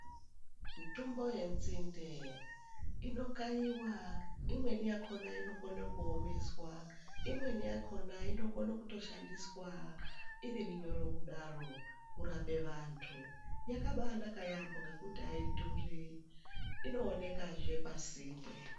Mutombo ye nzinde ino kayiwa imweni yakona inokone ku omeswa imweni yakona inokone kuto shandiswa iri minyoro kudaro kurape vantu yakabai naka yambo ngekuti ayi dhuri ino onekazve pasinde.